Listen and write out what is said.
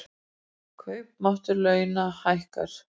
Kaupmáttur launa hækkar